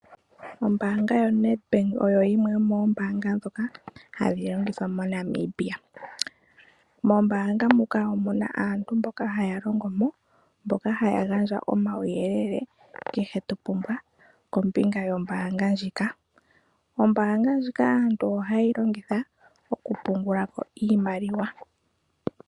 Ombaanga yoNEDBANK oyo yimwe yomoombanga ndhoka hadhi longithwa moNamibia. Mombaanga muka omuna aantu mboka haya longo mo, mboka haya gandja omauyelele kehe to pumbwa kombinga yombaanga ndjika. Ombaanga ndjika aantu ohaye yi longitha oku pungula ko iimaliwa.